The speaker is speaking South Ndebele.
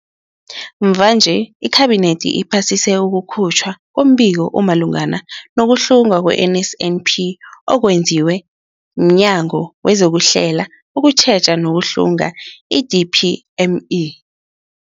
Mvanje, iKhabinethi iphasise ukukhutjhwa kombiko omalungana nokuhlungwa kwe-NSNP okwenziwe mNyango wezokuHlela, ukuTjheja nokuHlunga, i-DPME.